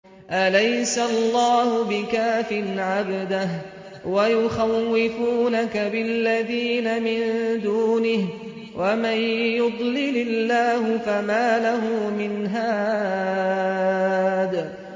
أَلَيْسَ اللَّهُ بِكَافٍ عَبْدَهُ ۖ وَيُخَوِّفُونَكَ بِالَّذِينَ مِن دُونِهِ ۚ وَمَن يُضْلِلِ اللَّهُ فَمَا لَهُ مِنْ هَادٍ